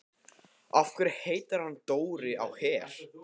Af hverju heitir hann Dóri á Her?